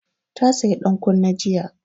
Ta saya dan kunne jiya